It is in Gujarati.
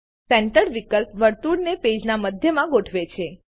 સેન્ટર્ડ વિકલ્પ વર્તુળને પેજના મધ્યમાં ગોઠવે છે